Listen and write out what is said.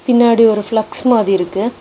பின்னாடி ஒரு பிளக்ஸ் மாதி இருக்கு.